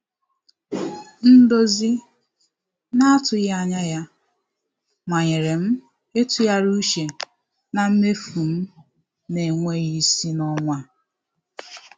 Ndozi na-atụghị anya ya manyere m ịtụgharị uche na mmefu m na-enweghị isi n'ọnwa a.